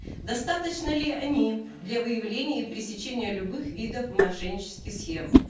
достаточны ли они для выявления и пресечения любых видов мошеннических схем